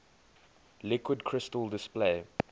liquid crystal display